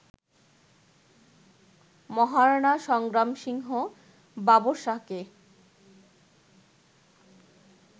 Maharana Sangram Singh বাবরশাহকে